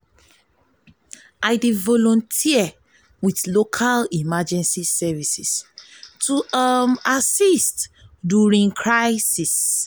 i dey volunteer with local emergency services to assist during crisis.